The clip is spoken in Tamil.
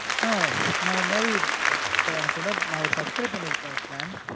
ஆஹ் நான் இந்த மாதிரி இப்ப எனக்கு நான் ஒரு subscribe பண்ணிருக்கேன் ஒரு plan